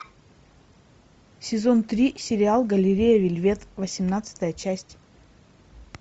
сезон три сериал галерея вельвет восемнадцатая часть